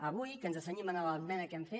avui que ens cenyim en l’esmena que hem fet